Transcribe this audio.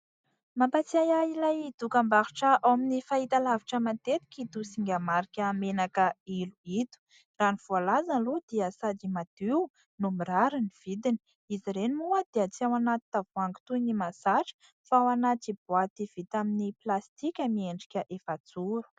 Mampatsiahy ahy ilay dokam-barotra ao amin'ny fahitalavitra matetika ito singa marika menaka ilo ito, raha ny voalaza aloha dia sady madio no mirary ny vidiny. Izy ireny moa dia tsy ao anaty tavoahangy toy ny mahazatra fa ao anaty boaty vita amin'ny plastika miendrika efajoro.